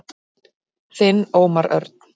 Þinn Ómar Örn.